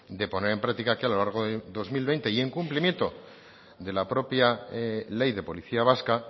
de poner en práctica que a lo largo de dos mil veinte y en cumplimiento de la propia ley de policía vasca